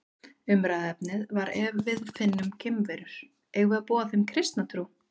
Umræðuefnið var Ef við finnum geimverur, eigum við að boða þeim kristna trú?